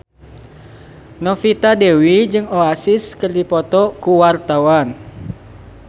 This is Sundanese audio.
Novita Dewi jeung Oasis keur dipoto ku wartawan